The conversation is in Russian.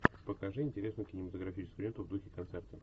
покажи интересную кинематографическую ленту в духе концерта